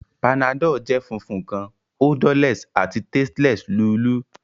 Panadol jẹ funfun kan, odorless, ati tasteless lulú.